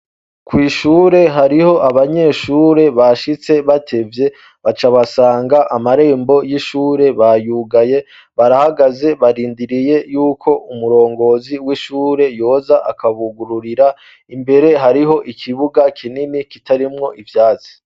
Kw'ishure hariho abanyeshure bashitse batevye, baca basanga amarembo y'ishure bayugaye, barahagaze barindiriye y'uko umurongozi w'ishure yoza akabugururira, imbere hariho ikibuga kinini kitarimwo ivyatsi.